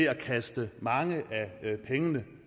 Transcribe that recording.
at kaste mange af pengene